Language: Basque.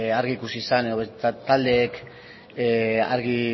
argi ikusi zen edo taldeek argi